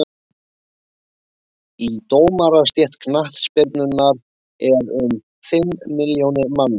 í dómarastétt knattspyrnunnar eru um fimm milljónir manna